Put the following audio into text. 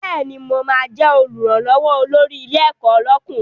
Bẹ́ẹ̀ni, mo ma jẹ́ Olùrànlọ́wọ́ olórí ilé ẹ̀kọ́ lọ́kùnrin